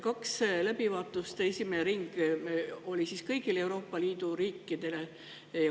Ja läbivaatuste esimene ring oli kõigile Euroopa Liidu riikidele.